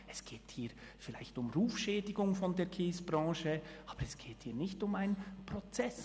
Es geht hier vielleicht um Rufschädigung der Kiesbranche, aber es geht hier nicht um einen Prozess.